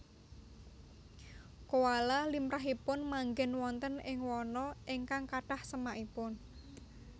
Koala limrahipun manggén wonten ing wana ingkang kathah semakipun